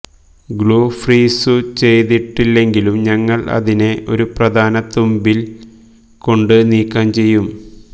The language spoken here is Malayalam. ഗ്ലൂ ഫ്രീസുചെയ്തിട്ടില്ലെങ്കിലും ഞങ്ങൾ അതിനെ ഒരു പ്രധാന തുമ്പിൽ കൊണ്ട് നീക്കം ചെയ്യും